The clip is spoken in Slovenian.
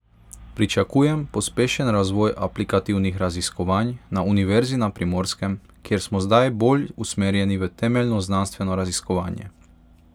Pričakujem pospešen razvoj aplikativnih raziskovanj na Univerzi na Primorskem, kjer smo zdaj bolj usmerjeni v temeljno znanstveno raziskovanje.